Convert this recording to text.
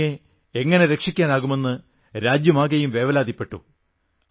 ടോമിയെ എങ്ങനെ രക്ഷിക്കാനാകുമെന്ന് രാജ്യമാകെയും വേവലാതിപ്പെട്ടു